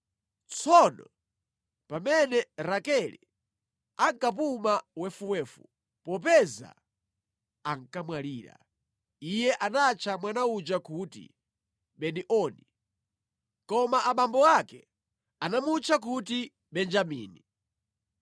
Tsono pamene Rakele ankapuma wefuwefu (popeza ankamwalira) iye anatcha mwana uja kuti Beni-Oni. Koma abambo ake anamutcha kuti Benjamini.